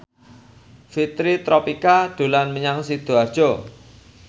Fitri Tropika dolan menyang Sidoarjo